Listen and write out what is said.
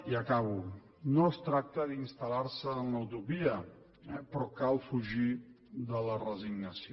i acabo no es tracta d’installar se en la utopia però cal fugir de la resignació